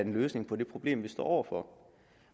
en løsning på det problem som vi står over for